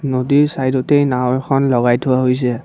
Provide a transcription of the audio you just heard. নদীৰ চাইদতেই নাওঁ এখন লগাই থোৱা হৈছে।